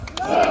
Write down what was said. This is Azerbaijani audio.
Hopp!